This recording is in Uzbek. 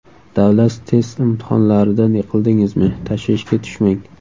Davlat test imtihonlaridan yiqildingizmi, tashvishga tushmang.